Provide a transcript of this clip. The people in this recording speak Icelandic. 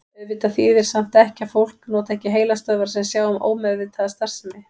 Auðvitað þýðir það samt ekki að fólk noti ekki heilastöðvar sem sjá um ómeðvitaða starfsemi.